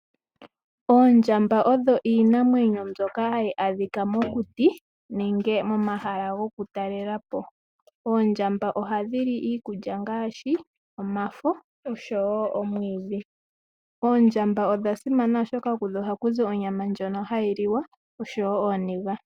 Oondjamba odho iinamwenyo mbyoka hayi adhika mokuti nenge momahala gokutalela po. Oondjamba ohadhi li iikulya ngaashi omafo oshowo omwiidhi. Oondjamba odha simana oshoka kudho ohakuzi onyama ndjono hayi liwa oshowo ooniga.